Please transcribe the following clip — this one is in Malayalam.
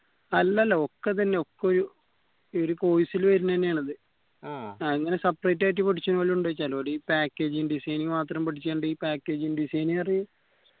അല്ലല്ല ഒക്ക ഇതന്നെ ഒക്ക ഒര് ഒരു course ല് വെരുന്നെന്നെയാണ് അത് ഇങ്ങന separate ആയിട്ട് ഒരു packaging designing മാത്രം പഠിക്കണ്ടെ ഈ packing design പറഞ്ഞേ